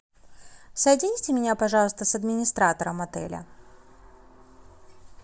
соедините меня пожалуйста с администратором отеля